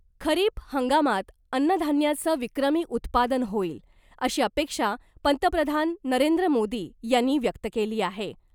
खरीप हंगामात अन्नधान्याचं विक्रमी उत्पादन होईल , अशी अपेक्षा पंतप्रधान नरेंद्र मोदी यांनी व्यक्त केली आहे .